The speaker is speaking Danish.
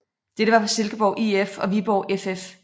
Dette var for Silkeborg IF og Viborg FF